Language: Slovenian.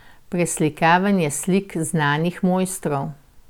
Preslikavanje slik znanih mojstrov.